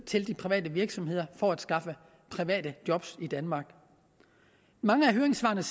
til de private virksomheder for at skaffe private job i danmark mange af høringssvarene